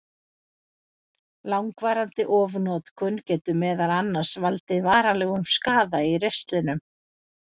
Langvarandi ofnotkun getur meðal annars valdið varanlegum skaða í ristlinum.